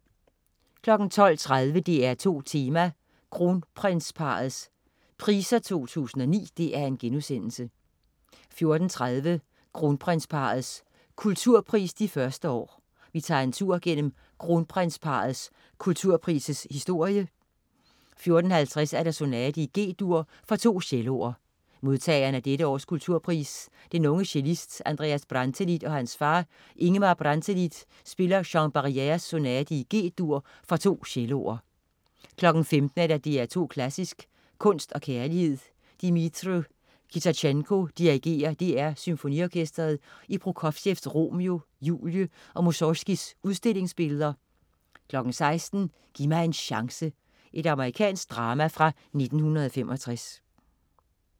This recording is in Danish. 12.30 DR2 Tema: Kronprinsparrets Priser 2009* 14.30 Kronprinsparrets Kulturpris, de første år. Vi tager en tur gennem Kronprinsparrets Kulturpris' historie 14.50 Sonate i G-dur for to celloer. Modtageren af dette års kulturpris, den unge cellist Andreas Brantelid og hans far, Ingemar Brantelid spiller Jean Barrières Sonate i G-dur for to celloer 15.00 DR2 Klassisk: Kunst og kærlighed. Dmitri Kitajenko dirigerer DR Symfoniorkestret i Prokofievs "Romeo Julie" og Musorgskijs "Udstillingsbilleder" 16.00 Giv mig en chance! Amerikansk drama fra 1965